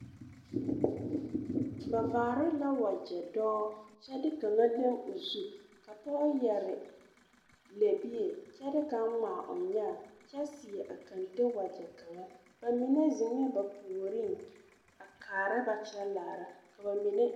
Ba varee la wakyɛ dɔɔ kyɛ kaŋa leŋ o zu poge yɛree lɛɛbie kyɛ de kaŋa gmaa o nyɛɛ kyɛ seɛ a kenten wakyɛ bamine zeŋɛɛ ba puoriŋ a karaa ba kyɛ laara ka bamine.